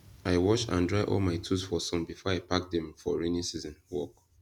i wash and dry all my tools for sun before i pack dem for rainy season work